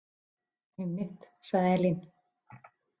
Einmitt, sagði Elín.